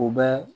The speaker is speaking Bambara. U bɛ